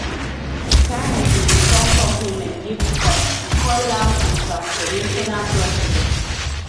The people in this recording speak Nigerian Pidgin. carney return di compliment give trump e call am a transformational president